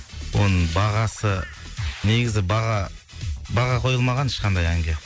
оның бағасы негізі баға баға қойылмаған ешқандай әнге